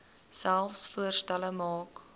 selfs voorstelle maak